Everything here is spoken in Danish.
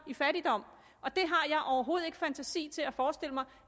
i fattigdom og jeg har overhovedet ikke fantasi til at forestille mig